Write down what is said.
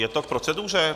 Je to k proceduře?